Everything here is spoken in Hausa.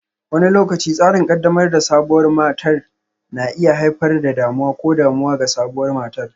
Wani lokaci, tsarin ƙaddamar da sabuwar matar na iya haifar da damuwa ko damuwa ga sabuwar matar.